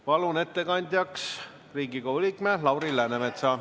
Palun ettekandjaks Riigikogu liikme Lauri Läänemetsa!